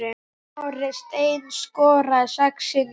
Snorri Steinn skoraði sex sinnum.